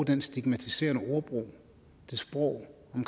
den stigmatiserende ordbrug det sprog om